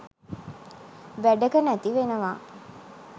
වැඩක නැති වෙනවා